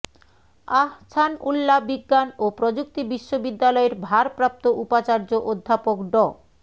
আহ্ছানউল্লা বিজ্ঞান ও প্রযুক্তি বিশ্ববিদ্যালয়ের ভারপ্রাপ্ত উপাচার্য অধ্যাপক ড